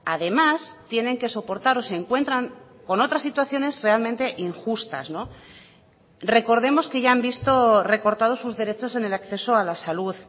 además tienen que soportar o se encuentran con otras situaciones realmente injustas recordemos que ya han visto recortados sus derechos en el acceso a la salud